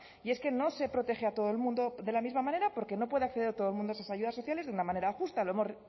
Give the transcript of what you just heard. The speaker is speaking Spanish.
y es que no se protege a todo el mundo de la misma manera porque no puede acceder todo el mundo esas ayudas sociales de una manera justa lo hemos